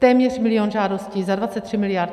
Téměř milion žádostí za 23 miliard.